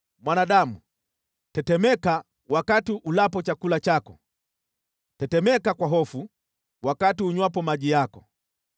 “Mwanadamu, tetemeka wakati ulapo chakula chako, tetemeka kwa hofu wakati unywapo maji yako.